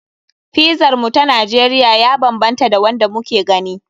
Pizar mu ta Najeriya ya banbanta da wanda muke gani.